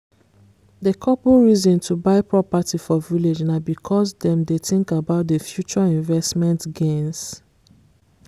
the couple reason to buy property for village na because dem dey think about the future investment gains